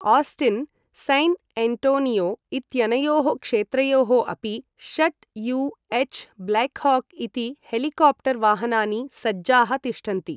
Austin, San Antonio इत्यनयोः क्षेत्रयोः अपि षट् यू एछ् ब्लैक्हाक् इति हेलिकाप्टर् वाहनानि सज्जाः तिष्ठन्ति।